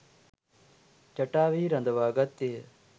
ජටාවෙහි රඳවා ගත්තේය.